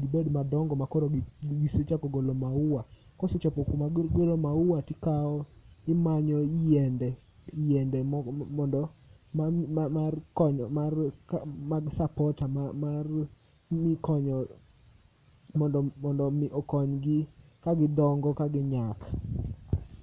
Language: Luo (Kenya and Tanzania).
gibed madongo makoro gisechako golo maua. Kosechopo kuma gigolo maua tikawo, imanyo yiende, yiende mondo ma mar konyo mag sapota mar konyo mondo mi okony gi kagidongo kaginyak.